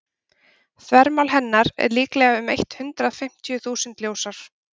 þvermál hennar er líklega um eitt hundruð fimmtíu þúsund ljósár